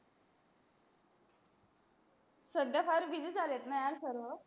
सध्या सारे busy यार सर्व